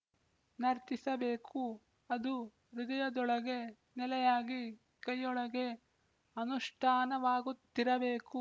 ನರ್ತಿಸಬೇಕು ಅದು ಹೃದಯದೊಳಗೆ ನೆಲೆಯಾಗಿ ಕೈಯೊಳಗೆ ಅನುಷ್ಠಾನವಾಗುತಿರಬೇಕು